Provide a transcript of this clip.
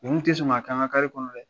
n kun tɛ sɔn k'a k'an ka kɔnɔ dɛ.